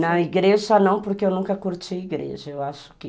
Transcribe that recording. Na igreja não, porque eu nunca curti igreja. Eu acho que